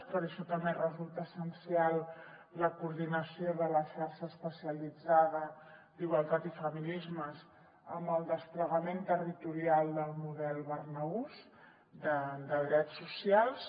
per a això també resulta essencial la coordinació de la xarxa especialitzada d’igualtat i feminismes amb el desplegament territorial del model barnahus de drets socials